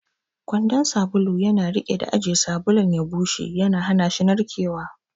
Kwandon sabulu yana riƙe da ajiye sabulun ya bushe, yana hana shi narkewa.